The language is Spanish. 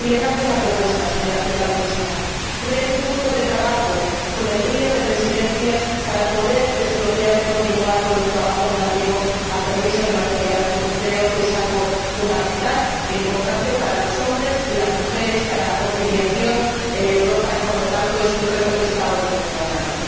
Y le lanzo una propuesta, señora Primera Ministra creen un grupo de trabajo con el trío de presidencias para poder desbloquear y continuar con los trabajos relativos al permiso de maternidad, porque creo que es algo fundamental e importante para los hombres y las mujeres, para la conciliación en Europa, y, por lo tanto, es un reto que está hoy en nuestras manos.